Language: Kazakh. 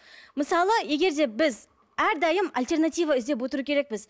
мысалы егер де біз әрдайым альтернатива іздеп отыру керекпіз